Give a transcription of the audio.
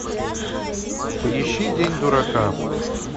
поищи день дурака